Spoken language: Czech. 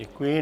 Děkuji.